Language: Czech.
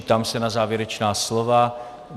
Ptám se na závěrečná slova.